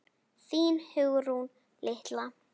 Þín Hugrún litla.